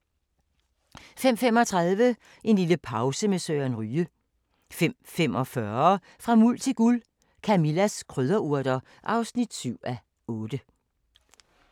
05:35: En lille pause med Søren Ryge 05:45: Fra Muld til Guld – Camillas krydderurter (7:8)